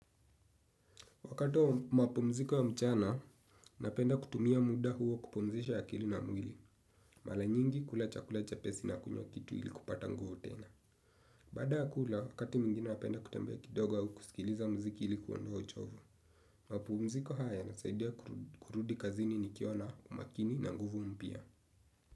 Wakati wa mapumziko ya mchana, napenda kutumia muda huo kupumzisha akili na mwili. Mala nyingi kula chakula chepesi na kunywa kitu ili kupata nguvu tena. Baada ya kula, wakati mwingine napenda kutembea kidogo au kusikiliza mziki ili kuondoa uchovu. Mapumziko haya yanasaidia kurudi kazini nikiwa na umakini na nguvu mpya.